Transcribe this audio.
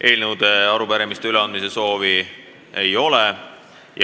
Eelnõude ja arupärimiste üleandmise soovi ei ole.